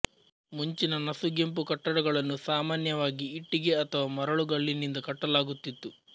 ಮುಂಚಿನ ನಸುಗೆಂಪು ಕಟ್ಟಡಗಳನ್ನು ಸಾಮಾನ್ಯವಾಗಿ ಇಟ್ಟಿಗೆ ಅಥವಾ ಮರಳುಗಲ್ಲಿನಿಂದ ಕಟ್ಟಲಾಗುತ್ತಿತ್ತು